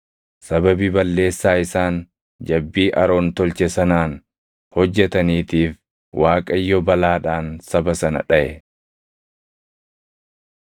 Sababii balleessaa isaan jabbii Aroon tolche sanaan hojjetaniitiif Waaqayyo balaadhaan saba sana dhaʼe.